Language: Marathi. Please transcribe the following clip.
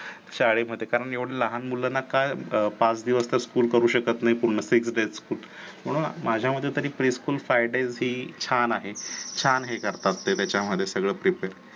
शाळेमध्ये कारण एवढे लहान मुलांना काय पाच दिवस school करू शकत नाही पूर्ण . म्हणून माझ्या मते pre school friday ही छान आहे छान हे करतात तच्यामध्ये सगळं prepare